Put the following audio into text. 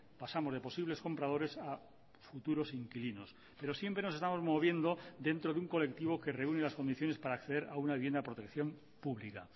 pasamos de posibles compradores a futuros inquilinos pero siempre nos estamos moviendo dentro de un colectivo que reúne las condiciones para acceder a una vivienda de protección pública